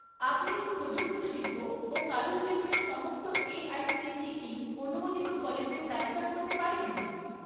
আপনি কি প্রযুক্ত শিল্প ও কারুশিল্পের সমস্ত এআইসিটিই অনুমোদিত কলেজের তালিকা করতে পারেন?